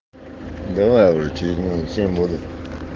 давай уже через минут семь буду